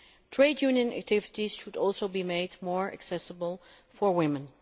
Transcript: Trade union activities should also be made more accessible for women.